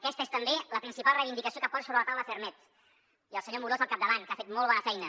aquesta és també la principal reivindicació que posa sobre la taula ferrmed i el senyor amorós al capdavant que ha fet molt bona feina